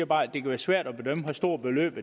bare at det kan være svært at bedømme hvor store beløb